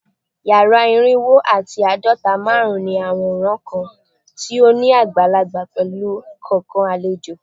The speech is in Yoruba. Yara irinwo ati aadọta -marun ní aworan kan ti o ni agbalagba pẹlu kọọkan alejo